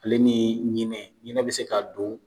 Ale ni ɲinɛ ɲinɛ bi se ka don